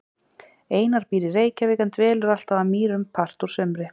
Einar býr í Reykjavík en dvelur alltaf að Mýrum part úr sumri.